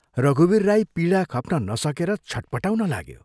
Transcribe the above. रघुवीर राई पीडा खप्न नसकेर छट्पटाउन लाग्यो।